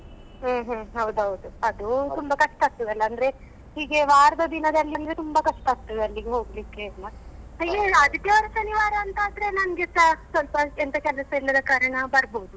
ಹ್ಮ್ ಹ್ಮ್ ಹೌದೌದು ಅದು ತುಂಬಾ ಕಷ್ಟ ಆಗ್ತದಲ್ಲ ಅಂದ್ರೆ ಹೀಗೆ ವಾರದ ದಿನದಲ್ಲಿ ಅಂದ್ರೆ ತುಂಬಾ ಕಷ್ಟ ಆಗ್ತದೆ ಅಲ್ಲಿಗೆ ಹೋಗ್ಲಿಕ್ಕೆ ಎಲ್ಲ ಹೀಗೆ ಆದಿತ್ಯವಾರ, ಶನಿವಾರ ಅಂತಾದ್ರೆ ನಂಗೆಸ ಸ್ವಲ್ಪ ಎಂತ ಕೆಲಸ ಇಲ್ಲದ ಕಾರಣ ಬರ್ಬೋದು.